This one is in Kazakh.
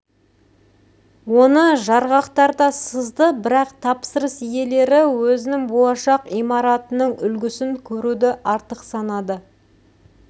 оны жарғақтарда сызды бірақ тапсырыс иелері өзінің болашақ имаратының үлгісін көруді артық санады